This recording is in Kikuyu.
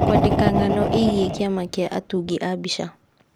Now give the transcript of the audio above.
kwandĩka ng'ano ĩgiĩ kĩama kĩa atungi a mbica